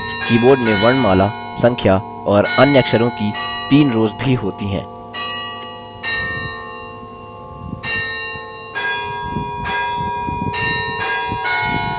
keyboard में वर्णमाला संख्या और अन्य अक्षरों की तीन रोज़ भी होती हैं